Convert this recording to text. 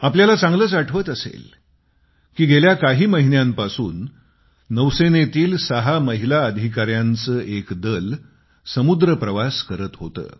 आपल्याला चांगलंच आठवत असेल की गेल्या काही महिन्यांपासून नौसेनेतील सहा महिला अधिकाऱ्यांचे दल समुद्रप्रवास करीत होते